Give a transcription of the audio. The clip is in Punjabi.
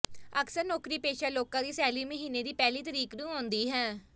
ਅਕਸਰ ਨੌਕਰੀ ਪੇਸ਼ਾ ਲੋਕਾਂ ਦੀ ਸੈਲਰੀ ਮਹੀਨੇ ਦੀ ਪਹਿਲੀ ਤਰੀਕ ਨੂੰ ਆਉਂਦੀ ਹੈ